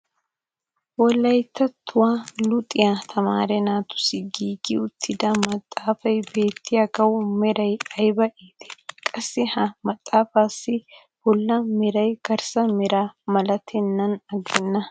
wolayttattuwa luxxiya tamaare naatussi giigi uttida maxaafay beetiyaagawu meray ayba iittii! qassi ha maxaafaassi bola meray garssa meraa malatennan agenna.